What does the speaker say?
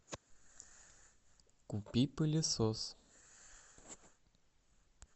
купи пылесос